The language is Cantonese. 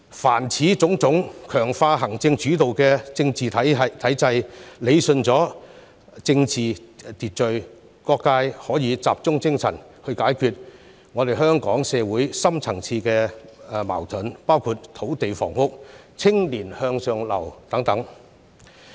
凡此種種，皆能強化行政主導的政治體制，理順政治秩序，讓各界可以集中解決香港社會的深層次矛盾，包括土地房屋、青年向上流等問題。